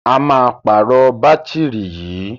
A máa pàrọ̀ bátìrì yìí.